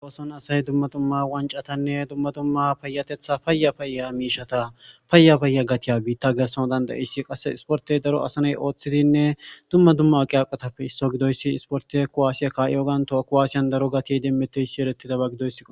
woson asay dumma dumma wancatanne dumma dumma payatetha paya payya miishata payya payya gatiya biitta gersano dandayissi qasse isportey daro asaney ooththidinne dumma dumma aqiaqatappe isso gidoyssi isporte kuwaasiya ka7iogan toha kowaasiyan daro gatiyey demmeteyssi erettidaba gidoyssi